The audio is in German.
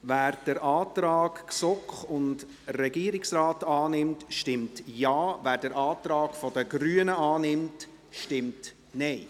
Wer den Antrag GSoK und Regierungsrat annimmt, stimmt Ja, wer den Antrag der Grünen annimmt, stimmt Nein.